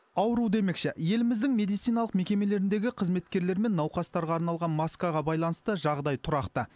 ауру демекші еліміздің медициналық мекемелеріндегі қызметкерлермен науқастарға арналған маскаға байланысты жағдай тұрақты